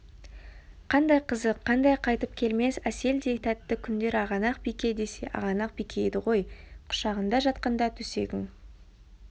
қандай қызық қандай қайтып келмес әселдей тәтті күндер ағанақ-бике десе ағанақ-бике еді ғой құшағында жатқанда төсегің